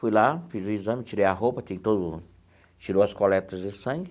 Fui lá, fiz o exame, tirei a roupa, tem todo o tirou as coletas de sangue.